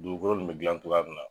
Dugukolo nin bɛ gilan cogoya min na.